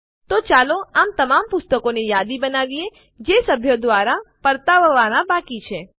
તો ચાલો તમામ પુસ્તક શીર્ષકોની યાદી બનાવીએ જે સભ્યો દ્વારા પર્તાવવાનાં બાકી છે